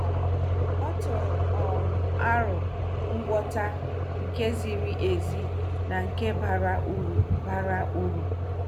O tụrụ um aro ngwọta nke ziri ezi na nke bara uru. bara uru.